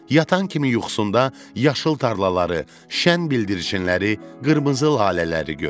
Yatan kimi yuxusunda yaşıl tarlaları, şən bildirçinləri, qırmızı lalələri gördü.